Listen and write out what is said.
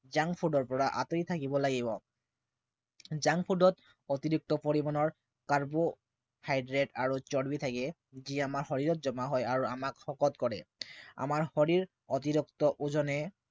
junk food ৰ পৰা আতৰি থাকিব লাগিব। junk food ত অতিৰিক্ত পৰিমাণৰ carbohydrate আৰু চৰ্বি থাকে যি আমাৰ শৰীৰত জমা হয় আৰু আমাক শকত কৰে। আমাৰ শৰীৰ অতিৰিক্ত ওজনে